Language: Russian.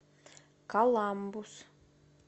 коламбус